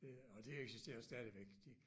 Det og det eksisterer stadigvæk